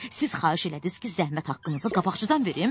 Siz xahiş elədiniz ki, zəhmət haqqınızı qabaqcadan verim?